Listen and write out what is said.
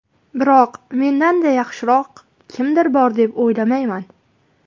Biroq mendan-da yaxshiroq kimdir bor deb o‘ylamayman.